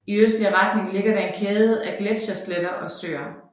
I østlig retning ligger der en kæde af gletschersletter og søer